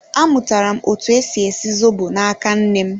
Amụtara m etu esi esi zobo na-aka nnem